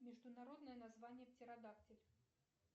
международное название птеродактиль